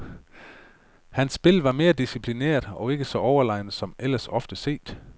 Hans spil var mere disciplineret og ikke så overlegent som ellers ofte set.